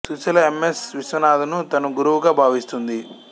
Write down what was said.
Susheela M S Viswanathan ను తన గురువుగా భావిస్తుంది